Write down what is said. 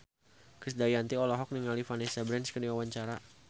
Krisdayanti olohok ningali Vanessa Branch keur diwawancara